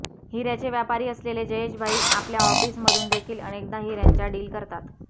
हिऱ्याचे व्यापारी असलेले जयेश भाई आपल्या ऑफिस मधून देखील अनेकदा हिऱ्यांच्या डील करतात